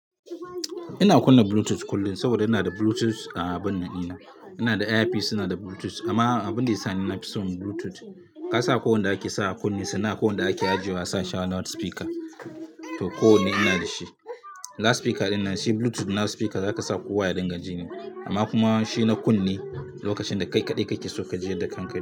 Ina kunna Bluetooth kullum saboda ina da Bluetooth a abin nan ina. Ina da Air peace suna da Bluetooth amma abin da ya sa ni na fi son Bluetooth, ka sa ko wanda ake sa a kunne sana, ko wanda ake ajiya sa shawa na wani speaker. To ko wanne ina da shi. Na speaker dinnan, shi Bluetooth na speaker za ka sa kuwa ya dinga jini. Amma kuma shi na kunne, lokacin da kai kaɗai kake so ka ji da kanka.